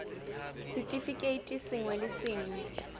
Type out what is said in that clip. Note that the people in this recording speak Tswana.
r setefikeiti sengwe le sengwe